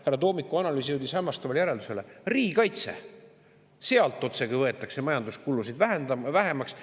Härra Toomiku analüüs jõudis hämmastavale järeldusele: riigikaitse – sealt võetakse otsekui majanduskulusid vähemaks.